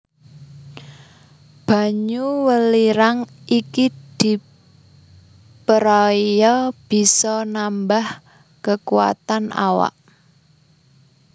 Banyu welirang iki diperaya bisa nambah kekuwatan awak